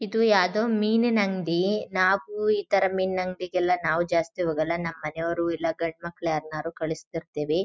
ಇದು ಯಾವ್ದು ಮಿನಿನ್ ಅಂಗಡಿ ನಾವು ಇತರ ಮಿನ ಅಂಗಡಿ ಗೆ ಎಲ್ಲ ನಾವು ಜಾಸ್ತಿ ಹೋಗಲ್ಲ ನಮ್ಮನೆಯವ್ರು ಇಲ್ಲ ಗಂಡಮಕ್ಕ್ಳು ಯಾರ್ನಾದ್ರು ಕಳ್ಸ್ತೀರ್ತಿವಿ.